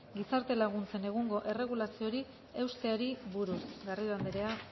gizarte laguntzen egungo erregulazioari eusteari buruz garrido andrea